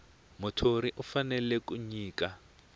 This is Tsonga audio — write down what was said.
muthori u fanele ku nyika